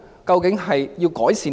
究竟要改善甚麼？